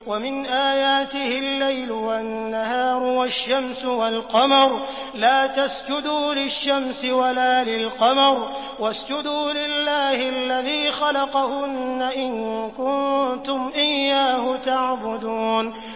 وَمِنْ آيَاتِهِ اللَّيْلُ وَالنَّهَارُ وَالشَّمْسُ وَالْقَمَرُ ۚ لَا تَسْجُدُوا لِلشَّمْسِ وَلَا لِلْقَمَرِ وَاسْجُدُوا لِلَّهِ الَّذِي خَلَقَهُنَّ إِن كُنتُمْ إِيَّاهُ تَعْبُدُونَ